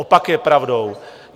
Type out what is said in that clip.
Opak je pravdou.